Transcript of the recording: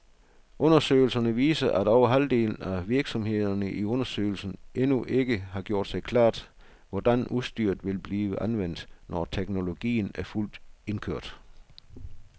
Undersøgelsen viser, at over halvdelen af virksomhederne i undersøgelsen endnu ikke har gjort sig klart, hvordan udstyret vil blive anvendt, når teknologien er fuldt indkørt.